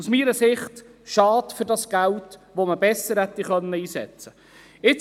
Aus meiner Sicht ist es schade um dieses Geld, man hätte es besser einsetzen können.